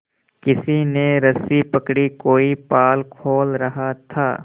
किसी ने रस्सी पकड़ी कोई पाल खोल रहा था